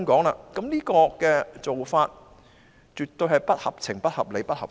我認為這種做法絕對不合情、不合理、不合法。